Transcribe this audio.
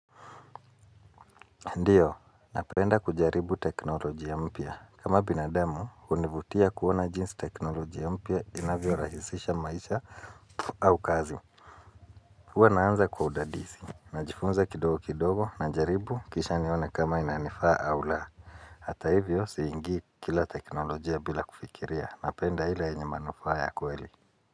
Ndiyo, napenda kujaribu teknolojia mpya. Kama binadamu, hunivutia kuona jinsi teknolojia mpya inavyo rahisisha maisha au kazi. Huwa naanza kwa udadisi. Najifunza kidogo kidogo na jaribu kisha nione kama inanifaa au laa. Hata hivyo, siingi kila teknolojiya bila kufikiria. Napenda ile yenye manufaa ya kweli.